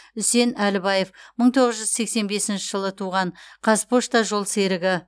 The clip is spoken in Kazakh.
үсен әлібаев мың тоғыз жүз сексен бесінші жылы туған қазпошта жолсерігі